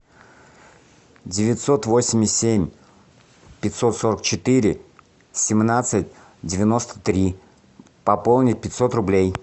девятьсот восемьдесят семь пятьсот сорок четыре семнадцать девяносто три пополнить пятьсот рублей